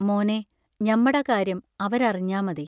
മോനേ, ഞമ്മട കാര്യം അവരറിഞ്ഞാ മതി.